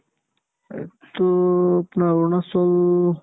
এইটো আপোনাৰ অৰুণাচল